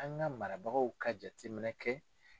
An ka marabagaw ka jateminɛ kɛ.